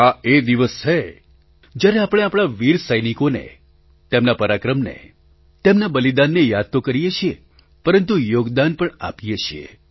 આ એ દિવસ છે જ્યારે આપણે આપણા વીર સૈનિકોને તેમના પરાક્રમને તેમના બલિદાનને યાદ તો કરીએ છીએ પરંતુ યોગદાન પણ આપીયે છીએ